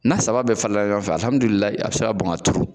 N'a saba bɛɛ falenla ɲɔgɔnfɛ i bɛ se k'a bɔn ka turu